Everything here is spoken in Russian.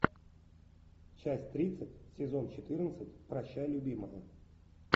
часть тридцать сезон четырнадцать прощай любимая